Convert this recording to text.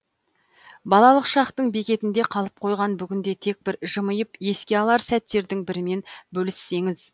балалық шақтың бекетінде қалып қойған бүгінде тек бір жымиып еске алар сәттердің бірімен бөліссеңіз